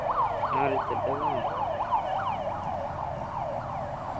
ആ result ഒക്കെ വന്നു